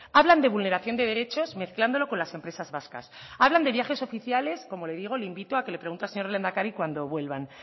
hablan de vulneración de derechos mezclándolo con las empresas vascas hablan de viajes oficiales como le digo le invito a que le pregunte al señor lehendakari cuando vuelvan